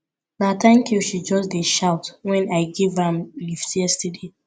na tank you she just dey shout wen i give am lift yesterday